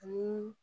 Ani